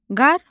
Qarmon.